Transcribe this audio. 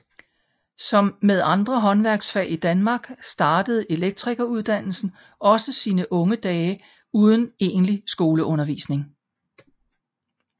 Som med andre håndværksfag i Danmark startede elektrikeruddannelsen også sine unge dage uden egentlig skoleundervisning